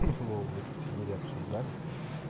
вову вы тут сидели обсуждали